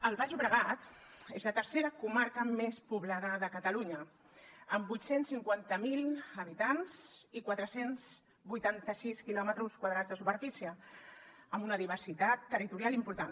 el baix llobregat és la tercera comarca més poblada de catalunya amb vuit cents i cinquanta miler habitants i quatre cents i vuitanta sis quilòmetres quadrats de superfície amb una diversitat territorial important